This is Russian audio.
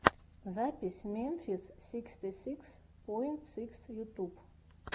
запись мемфис сиксти сикс поинт сикс ютуб